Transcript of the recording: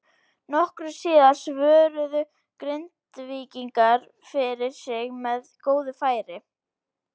Nokkru síðar svöruðu Grindvíkingar fyrir sig með góðu færi.